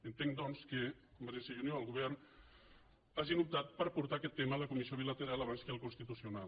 entenc doncs que convergència i unió el govern hagin optat per portar aquest tema a la comissió bilateral abans que al constitucional